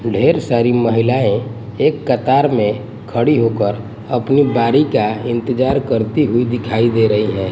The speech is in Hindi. ढेर सारी महिलाएं एक कतार में खड़ी होकर अपनी बारी का इंतजार करती हुई दिखाई दे रही हैं।